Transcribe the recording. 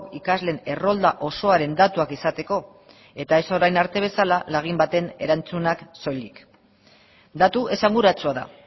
ikasleen errolda osoaren datuak izateko eta ez orain arte bezala lagin baten erantzunak soilik datu esanguratsua da